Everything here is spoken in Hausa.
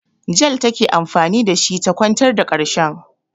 Jel take anfani da shi ta kwantar da ƙarshen.